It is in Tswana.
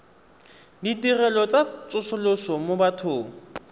ditirelo tsa tsosoloso mo bathong